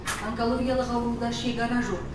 онкологиялық ауруда шекара жоқ